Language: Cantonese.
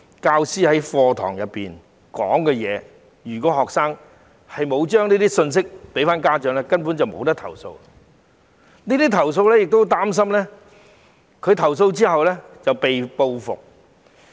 教師在課堂上所說的話，如果學生沒有把這些信息帶回給家長，他們根本無從投訴，而且亦擔心投訴後會被報復。